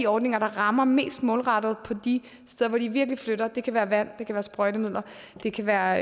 ordninger der rammer mest målrettet på de steder hvor det virkelig flytter noget det kan være vand det kan være sprøjtemidler det kan være